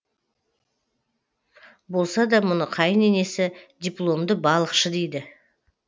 болса да мұны қайын енесі дипломды балықшы дейді